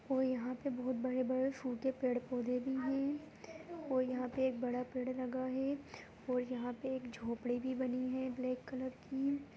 और यहाँ पे बोहोत बड़े-बड़े सूखे पेड़-पौधे भी है और यहाँ पे एक बड़ा पेड़ लगा है और यहाँ पे एक झोपड़ी भी बनी है ब्लैक कलर की।